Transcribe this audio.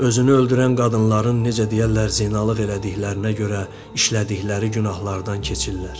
Özünü öldürən qadınların necə deyərlər zinalıq elədiklərinə görə işlədikləri günahlardan keçirlər.